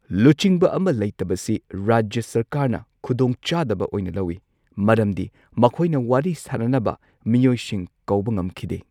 ꯂꯨꯆꯤꯡꯕ ꯑꯃ ꯂꯩꯇꯕꯁꯤ ꯔꯥꯖ꯭ꯌ ꯁꯔꯀꯥꯔꯅ ꯈꯨꯗꯣꯡꯆꯥꯗꯕ ꯑꯣꯢꯅ ꯂꯧꯋꯤ ꯃꯔꯝꯗꯤ ꯃꯈꯣꯢꯅ ꯋꯥꯔꯤ ꯁꯥꯅꯅꯕ ꯃꯤꯑꯣꯏꯁꯤꯡ ꯀꯧꯕ ꯉꯝꯈꯤꯗꯦ꯫